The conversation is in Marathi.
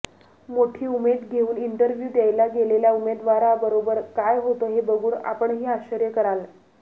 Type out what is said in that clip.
मोठी उमेद घेऊन इंटरव्यू देयला गेलेल्या उमेदवाराबरोबर काय होतो हे बघून आपणही आश्चर्य कराल